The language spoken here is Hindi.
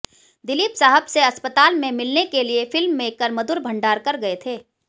दिलीप साहब से अस्पताल में मिलने के लिए फिल्ममेकर मधुर भंडारकर गए थे